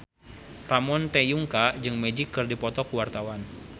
Ramon T. Yungka jeung Magic keur dipoto ku wartawan